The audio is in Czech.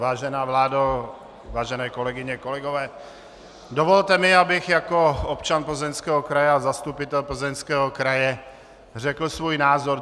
Vážená vládo, vážené kolegyně, kolegové, dovolte mi, abych jako občan Plzeňského kraje a zastupitel Plzeňského kraje řekl svůj názor.